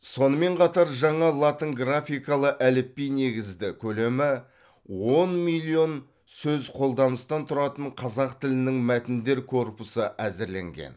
сонымен қатар жаңа латынграфикалы әліпби негізді көлемі он миллион сөзқолданыстан тұратын қазақ тілінің мәтіндер корпусы әзірленген